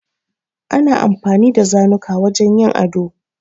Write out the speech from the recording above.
Ana amfani da zanuka wajen yin ado.